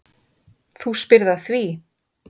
Þú spyrð að því.